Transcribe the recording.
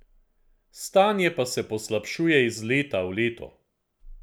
Stanje pa se poslabšuje iz leta v leto.